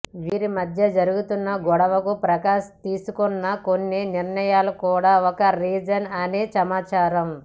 వీరి మధ్య జరుగుతున్న గొడవకు ప్రకాష్ తీసుకున్న కొన్ని నిర్ణయాలు కూడా ఒక రీజన్ అనే సమాచారం